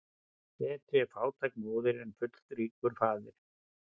Betri er fátæk móðir en fullríkur faðir.